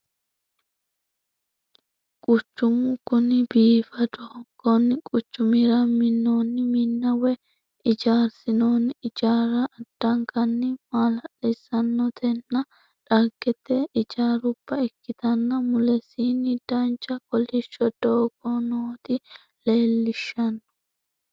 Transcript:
Quchumu kuni biifadoho konni quchumira minnoonni minna woy ijaarsinoonni ijaarra addankanni maala'lissannotanna dhagete ijaarubba ikkitanna mulesiinni dancha kolishsho doogonoota leellishshanno.